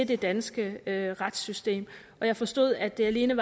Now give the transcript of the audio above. det danske retssystem jeg forstod at det alene